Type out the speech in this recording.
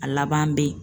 A laban bɛ yen